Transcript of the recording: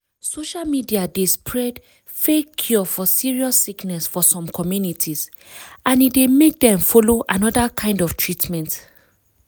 social media dey spread fake cure for serious sickness for some communities and e dey make dem follow another kind of treatment.